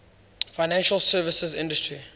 financial services industry